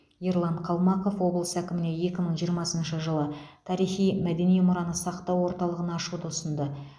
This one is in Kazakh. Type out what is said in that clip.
ерлан қалмақов облыс әкіміне екі мың жиырмасыншы жылы тарихи мәдени мұраны сақтау орталығын ашуды ұсынды